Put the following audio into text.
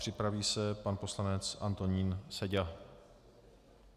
Připraví se pan poslanec Antonín Seďa.